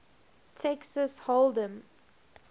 texas hold em